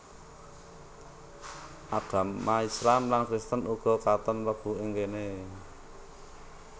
Agama Islam lan Kristen uga katon mlebu ing kéné